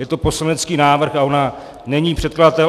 Je to poslanecký návrh a ona není předkladatel.